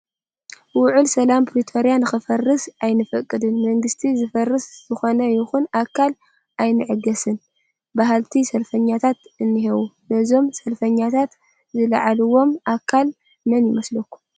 ውዕሊ ሰላም ፕሪቶርያ ንክፈርስ ኣይንፈቅድን፣ መንግስቲ ዘፍርስ ዝኾነ ይኹን ኣካል ኣይንዕገስን በሃልቲ ሰልፈኛታት እኔዉ፡፡ ነዞም ሰልፈኛታት ዘለዓዓሎም ኣካል መን ይመስለኩም?